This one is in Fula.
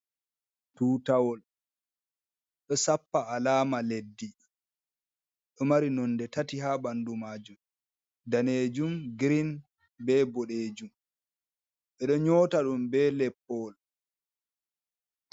Tutawol ɗo sappa alama leddi ɗo mari nonde tati ha ɓandu majum danejum, green be boɗejum, ɓe ɗo nyota ɗum be leppowol.